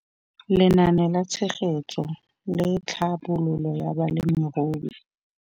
Lenaane la Tshegetso le Tlhabololo ya Balemirui.